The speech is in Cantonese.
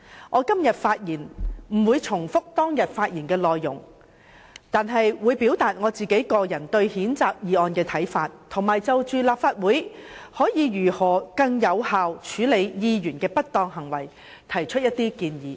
我今天不會重複當天發言的內容，但會表達我個人對譴責議案的看法，並會就着立法會可以如何更有效處理議員的不當行為提出一些建議。